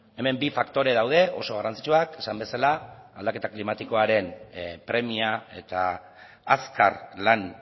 hemen bi faktore daude oso garrantzitsuak esan bezala aldaketa klimatikoaren premia eta azkar lan